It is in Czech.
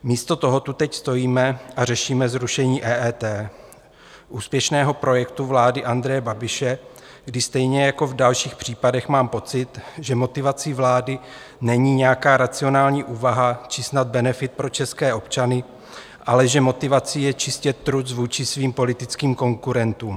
Místo toho tu teď stojíme a řešíme zrušení EET, úspěšného projektu vlády Andreje Babiše, kdy stejně jako v dalších případech mám pocit, že motivací vlády není nějaká racionální úvaha či snad benefit pro české občany, ale že motivací je čistě truc vůči svým politickým konkurentům.